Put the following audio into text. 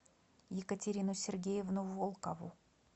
екатерину сергеевну волкову